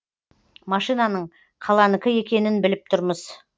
машинаның қаланікі екенін біліп тұрмыз